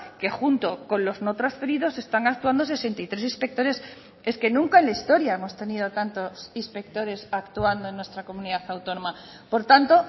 que junto con los no transferidos están actuando sesenta y tres inspectores es que nunca en la historia hemos tenido tantos inspectores actuando en nuestra comunidad autónoma por tanto